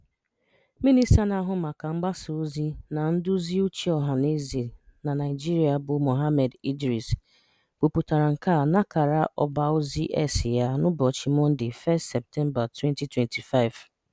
Minista na-ahụ maka mgbasaozi na nduziuche ọhanaeze na Naịjirịa bụ Mohammed Idris kwupụtara nke a n'akara ọbaozi X ya n'ụbọchị Mọnde 1 Septemba 2025.